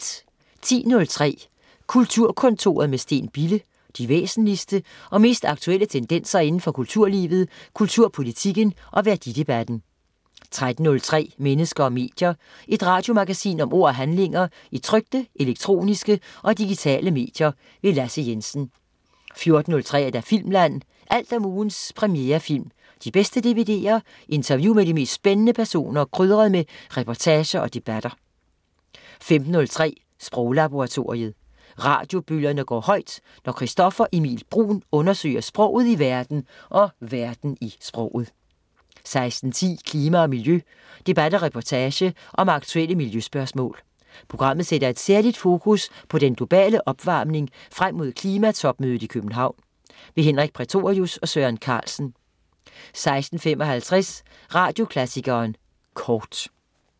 10.03 Kulturkontoret med Steen Bille. De væsentligste og mest aktuelle tendenser inden for kulturlivet, kulturpolitikken og værdidebatten 13.03 Mennesker og medier. Et radiomagasin om ord og handlinger i trykte, elektroniske og digitale medier. Lasse Jensen 14.03 Filmland. Alt om ugens premierefilm, de bedste dvd'er, interview med de mest spændende personer, krydret med reportager og debatter 15.03 Sproglaboratoriet. Radiobølgerne går højt, når Christoffer Emil Bruun undersøger sproget i verden og verden i sproget 16.10 Klima og miljø. Debat og reportage om aktuelle miljøspørgsmål. Programmet sætter et særligt fokus på den globale opvarmning frem mod klimatopmødet i København. Henrik Prætorius og Søren Carlsen 16.55 Radioklassikeren Kort